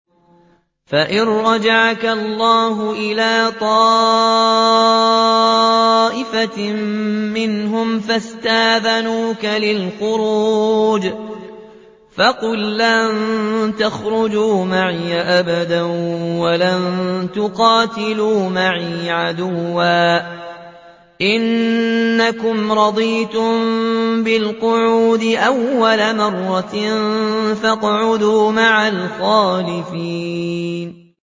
فَإِن رَّجَعَكَ اللَّهُ إِلَىٰ طَائِفَةٍ مِّنْهُمْ فَاسْتَأْذَنُوكَ لِلْخُرُوجِ فَقُل لَّن تَخْرُجُوا مَعِيَ أَبَدًا وَلَن تُقَاتِلُوا مَعِيَ عَدُوًّا ۖ إِنَّكُمْ رَضِيتُم بِالْقُعُودِ أَوَّلَ مَرَّةٍ فَاقْعُدُوا مَعَ الْخَالِفِينَ